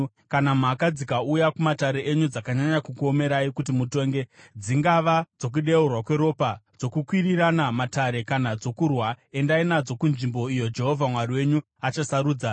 Kana mhaka dzikauya kumatare enyu dzakanyanya kukuomerai kuti mutonge, dzingava dzokudeurwa kweropa, dzokuendesana kumatare kana dzokurwa, endai nadzo kunzvimbo iyo Jehovha Mwari wenyu achasarudza.